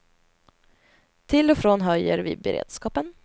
Till och från höjer vi beredskapen.